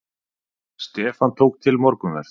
Stefán tók til morgunverð.